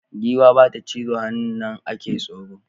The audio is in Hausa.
Giwa bata cizo hannun nan ake tsoro